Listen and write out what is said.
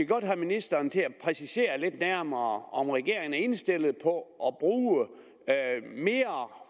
godt have ministeren til at præcisere lidt nærmere om regeringen er indstillet på at